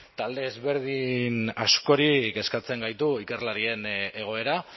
talde ezberdin askori kezkatzen gaitu ikerlarien egoera